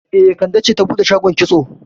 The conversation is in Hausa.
E, Kande ce ta bude shagon kitso